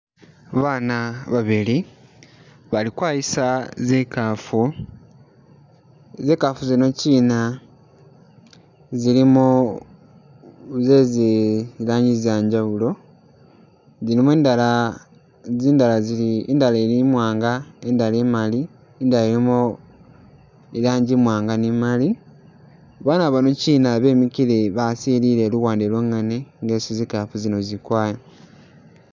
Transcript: Babana babili bali kwayisa zikaafu, zikaafu zino kyina zilimo zezi lanji zanjawulo, zilimo endala zindala zili indala i'mwanga, indala i'maali, i'ndala ilimo ilanji imwaanga ni i'maali, Bana bano kyina bemikile basilile luwande lwongene nga esi zikaafu zino zili kwaya.